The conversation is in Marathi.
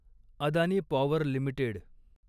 Adani power limited